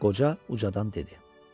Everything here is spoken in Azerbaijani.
Qoca ucadan dedi.